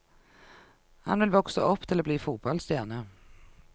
Han vil vokse opp til å bli fotballstjerne.